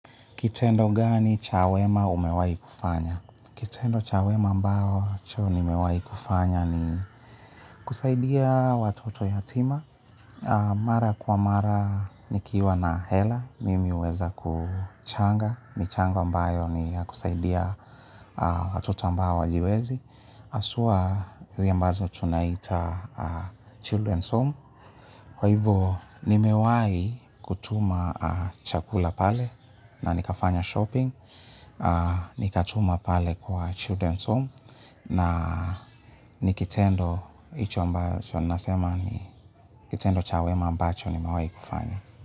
Kitendo gani cha wema umewahi kufanya? Kitendo cha wema ambacho nimewahi kufanya ni kusaidia watoto yatima. Mara kwa mara nikiwa na hela, mimi huweza kuchanga. Michanga ambayo ni ya kusaidia watoto ambao hawajiwezi. Haswa, zile ambazo tunaita Children's Home. Kwa hivo, nimewahi kutuma chakula pale na nikafanya shopping. Nikatuma pale kwa Children's Home na ni kitendo icho ambacho. Ninasema ni kitendo cha wema ambacho nimewahi kufanya.